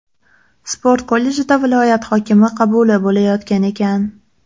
Sport kollejida viloyat hokimi qabuli bo‘layotgan ekan.